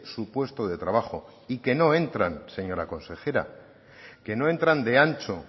su puesto de trabajo y que no entran señora consejera que no entran de ancho